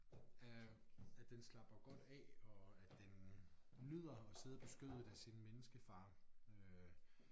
Øh at den slapper godt af og at den nyder at sidde på skødet af sin menneskefar øh